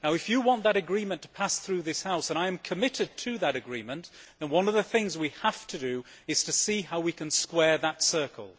If you want that agreement to pass through this House and I am committed to that agreement one of the things we have to do is to see how we can square that circle.